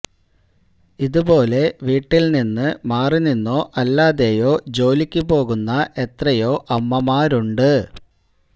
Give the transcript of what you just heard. ഇതു പോലെ വീട്ടില്നിന്നു മാറിനിന്നോ അല്ലാതെയോ ജോലിയ്ക്കു പോകുന്ന എത്രയോ അമ്മമാരുണ്ട്